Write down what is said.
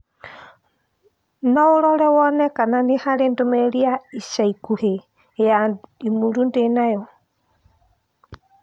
no ũrore wone kana nĩ harĩ ndũmĩrĩri ya ica ikuhĩ ya i-mīrū ndĩ nayo